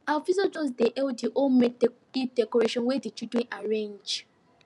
our visitors just dey hail the homemade eid decorations wey the children arrange